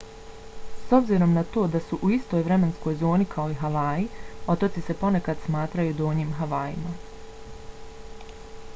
s obzirom na to da su u istoj vremenskoj zoni kao i havaji otoci se ponekad smatraju donjim havajima